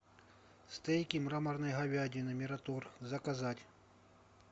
стейки мраморной говядины мираторг заказать